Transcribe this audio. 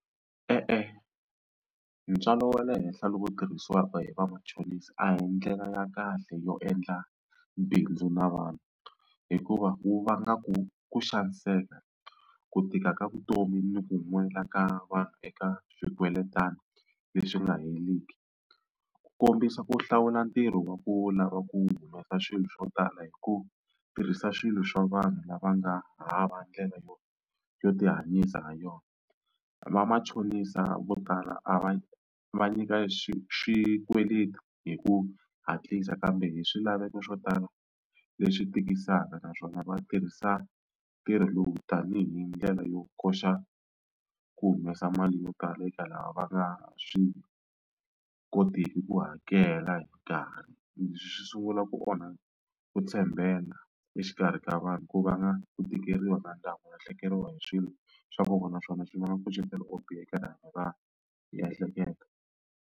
E-e ntswalo wa le henhla lowu tirhisiwaka hi vamachonisi a hi ndlela ya kahle yo endla bindzu na vanhu hikuva wu vanga ku ku xaniseka, ku tika ka vutomi ni ku nwela ka vanhu eka swikweletana leswi nga heriki. Ku kombisa ku hlawula ntirho wa ku lava ku humesa swilo swo tala hi ku tirhisa swilo swa vanhu lava nga hava ndlela yo yo tihanyisa ha yona. Vamachonisa vo tala a va va nyika xi xikweleti hi ku hatlisa kambe hi swilaveko swo tala leswi tikisaka naswona va tirhisa ntirho lowu tanihi ndlela yo koxa ku humesa mali yo tala eka lava va nga swi kotiki ku hakela hi nkarhi. Leswi swi sungula ku onha ku tshembeka exikarhi ka vanhu ku vanga ku tikeriwa na ku lahlekeriwa hi swilo swa nkoka naswona swi vanga nkucetelo wo biha eka rihanyo ra miehleketo.